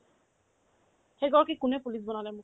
সেইগৰাকীক কোনে police বনালে মোক